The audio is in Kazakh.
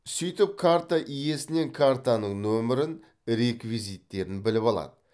сөйтіп карта иесінен картаның нөмірін реквизиттерін біліп алады